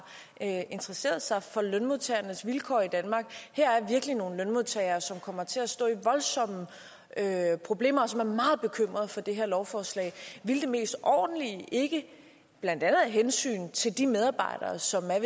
interesseret sig for lønmodtagernes vilkår i danmark her er virkelig nogle lønmodtagere som kommer til at stå i voldsomme problemer og som er meget bekymrede for det her lovforslag ville det mest ordentlige blandt andet af hensyn til de medarbejdere som er